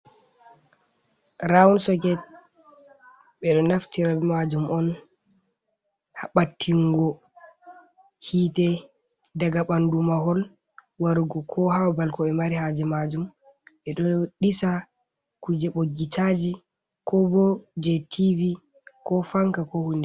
Raund soket, ɓe ɗo naftira be majum on ha ɓattingo hite daga ɓandu mahol warugo ko ha babal ko ɓe mari haje majum, ɓe ɗo ɗisa kuje ɓoggi caji, ko bo je tv, ko fanka, ko hunde.